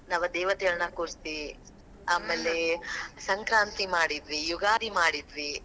ನವ ದೇವತೆಗಳನ್ನಾ ಕೂರ್ಸಿ, ಆಮ್ಯಾಲೆ ಸಂಕ್ರಾಂತಿ ಮಾಡಿದ್ವಿ, ಯುಗಾದಿ ಮಾಡಿದ್ವಿ.